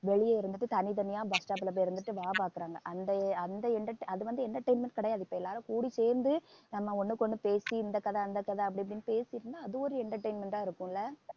வெளிய இருந்துட்டு தனித்தனியா bus stop ல போய் இருந்துட்டு வேலை பாக்குறாங்க அந்த அந்த entertain~ அது வந்து entertainment கிடையாது இப்ப எல்லாரும் கூடி சேர்ந்து நம்ம ஒண்ணுக்கு ஒண்ணு பேசி இந்த கதை அந்த கதை அப்படி இப்படின்னு பேசியிருந்தா அது ஒரு entertainment ஆ இருக்கும் இல்ல